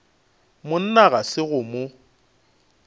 monna ga se go mo